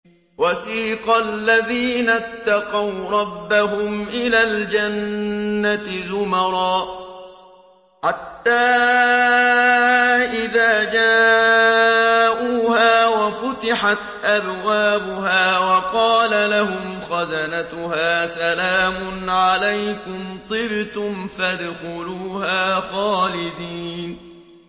وَسِيقَ الَّذِينَ اتَّقَوْا رَبَّهُمْ إِلَى الْجَنَّةِ زُمَرًا ۖ حَتَّىٰ إِذَا جَاءُوهَا وَفُتِحَتْ أَبْوَابُهَا وَقَالَ لَهُمْ خَزَنَتُهَا سَلَامٌ عَلَيْكُمْ طِبْتُمْ فَادْخُلُوهَا خَالِدِينَ